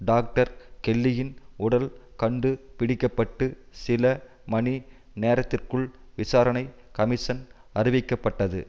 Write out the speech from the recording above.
doctor கெல்லியின் உடல் கண்டு பிடிக்க பட்டு சில மணி நேரத்திற்குள் விசாரணை கமிஷன் அறிவிக்கப்பட்டது